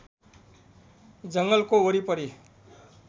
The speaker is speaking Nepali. जङ्गलको वरिपरि